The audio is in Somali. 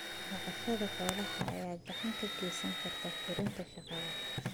Dhaqashada xoolaha ayaa gacan ka geysan karta kordhinta shaqada.